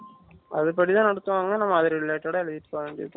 அது படி தான் நடத்துவாங்க நாம அது related ஆ எழுதிக்க வேண்டிதான்